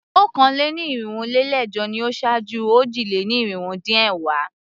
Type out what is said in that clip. Okòó-lé-ní-irinwó-lé-ẹ̀jọ ni ó ṣáájú òjì-lé-ní-irinwó-dín-ẹ̀wá.